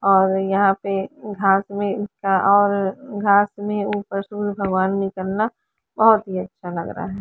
और यहाँ पे और बोहोत ही अच्छा लग रहा है।